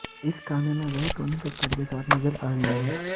इस गाने में वह टोनी कक्कड़ के साथ नजर आ रही हैं